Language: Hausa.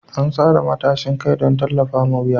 An tsara matashin kai don tallafawa wuya.